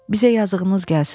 Bizə yazığınız gəlsin.